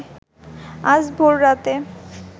আজ ভোর রাতে